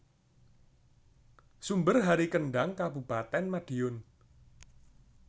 Sumber Hari Kendhang Kabupatèn Madiun